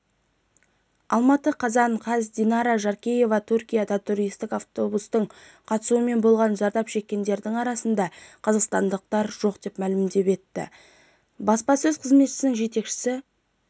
алматы қазан қаз динара жаркеева түркияда туристік автобустың қатысуымен болған зардап шеккендердің арасында қазақстандықтар жоқ деп мәлім етті баспасөз қызметінің жетекшісі